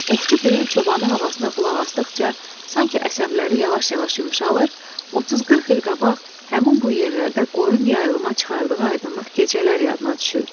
Ovçu Piri çobanı havasına qulaq asdıqca, sanki əsəbləri yavaş-yavaş yumşalır, 30-40 il qabaq həmin bu yerlərdə qoyun yayılıma çıxardığı aydınlıq gecələr yadına düşürdü.